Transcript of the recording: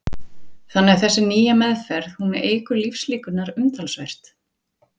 Telma Tómasson: Þannig að þessi nýja meðferð, hún eykur lífslíkurnar umtalsvert?